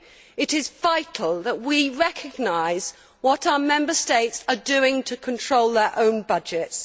It is vital that we recognise what our Member States are doing to control their own budgets.